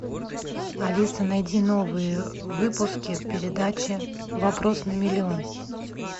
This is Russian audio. алиса найди новые выпуски передачи вопрос на миллион